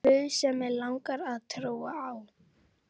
guð sem mig langar að trúa á.